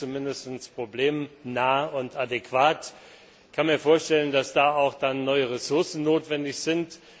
Das wäre zumindestens problemnah und adäquat. Ich kann mir vorstellen, dass dann auch neue Ressourcen notwendig sind.